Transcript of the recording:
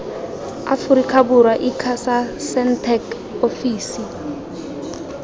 aforika borwa icasa sentech ofisi